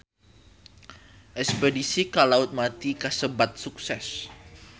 Espedisi ka Laut Mati kasebat sukses